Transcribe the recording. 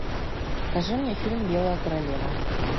покажи мне фильм белая королева